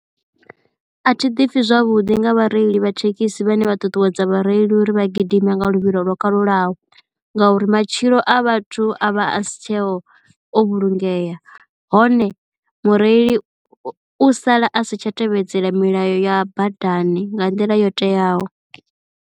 A thi ḓipfhi zwavhuḓi nga vhareili vha thekhisi vhane vha ṱuṱuwedza vhareili uri vha gidima nga luvhilo lwo kalulaho ngauri matshilo a vhathu a vha a si tsheho o vhulungeya hone mureili u sala a si tsha tevhedzela milayo ya badani nga nḓila yo teaho.